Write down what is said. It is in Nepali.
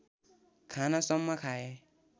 खानसम्म खाए